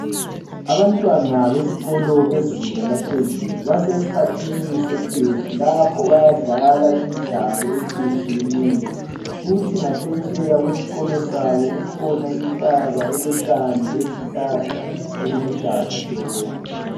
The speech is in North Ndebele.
Abantwana besikolo bezinga laphezulu basesikhathini sekhefu lapho bayadlala imidlalo etshiyetshiyeneyo. Kuthi ngaphetsheya kwesikolo sabo kukhona jntaba elotshani lezihlahla okuluhlaza tshoko.